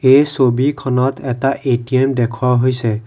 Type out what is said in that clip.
এই ছবিখনত এটা এ_টি_ম দেখুওৱা হৈছে।